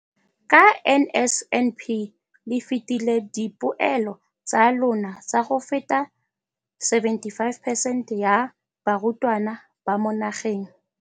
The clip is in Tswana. ka NSNP le fetile dipeelo tsa lona tsa go feta 75 percent ya barutwana ba mo nageng.